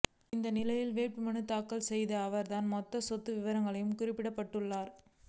இந்நிலையில் வேட்புமனு தாக்கல் செய்த அவர் தன் மொத்த சொத்து விவரங்களையும் குறிப்பிட்டுள்ளார்